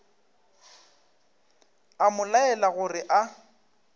a mo laela gore a